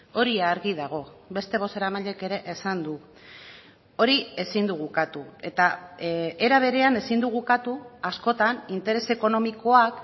hori argi dago beste bozeramaileek ere esan du hori ezin dugu ukatu eta era berean ezin dugu ukatu askotan interes ekonomikoak